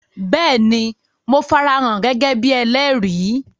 Béèni, Mo farahàn gẹ́gẹ́ bíi ẹlẹ́rìí